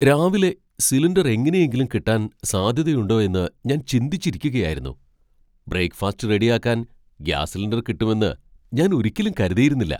രാവിലെ സിലിണ്ടർ എങ്ങനെയെങ്കിലും കിട്ടാൻ സാധ്യതയുണ്ടോ എന്ന് ഞാൻ ചിന്തിച്ചിരിക്കുകയായിരുന്നു . ബ്രേക്ക് ഫാസ്റ്റ് റെഡി ആക്കാൻ ഗ്യാസ് സിലിണ്ടർ കിട്ടുമെന്ന് ഞാൻ ഒരിക്കലും കരുതിയിരുന്നില്ല!